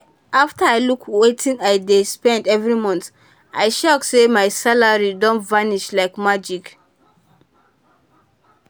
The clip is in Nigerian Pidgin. after i look wetin i dey spend every month i shock say my salary dey vanish like magic.